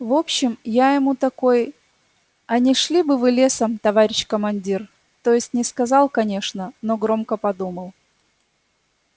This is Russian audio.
в общем я ему такой а не шли бы вы лесом товарищ командир то есть не сказал конечно но громко подумал